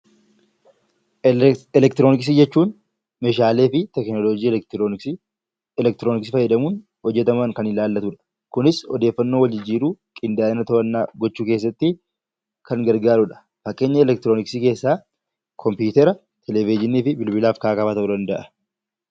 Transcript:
Elektirooniksii jechuun meeshaalee fi teekinooloojii elektirooniksii fayyadamuun hojjataman kan ilaallatudha. Kunis odeeffannoo wal jijjiiruu, qindaa'ina odeeffannoo gochuu keessatti kan gargaarudha. Fakkeenyi elektirooniksii keessaa kompiitara, televezyiinii fi bilbila ta'uu danda'a.